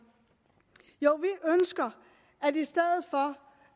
jo i stedet for